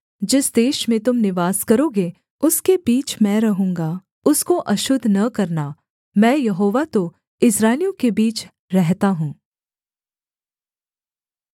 जिस देश में तुम निवास करोगे उसके बीच मैं रहूँगा उसको अशुद्ध न करना मैं यहोवा तो इस्राएलियों के बीच रहता हूँ